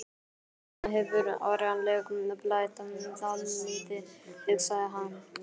Þarna hefur áreiðanlega blætt dálítið, hugsaði hann.